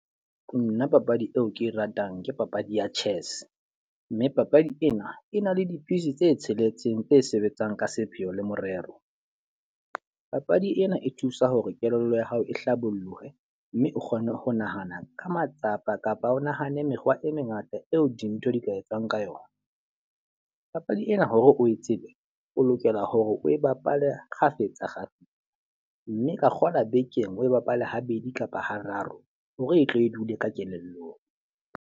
Nna papadi eo ke e ratang ke papadi ya chess. Mme papadi ena e na le di-piece tse tsheletseng tse sebetsang ka sepheo le morero. Papadi ena e thusa hore kelello ya hao e hlabollohe, mme o kgone ho nahana ka matsapa kapa o nahane mekgwa e mengata eo dintho di ka etswang ka yona. Papadi ena hore o e tsebe, o lokela hore o e bapale kgafetsa kgafetsa. Mme ka kgola bekeng oe bapale habedi kapa hararo hore e tle e dule ka kelellong.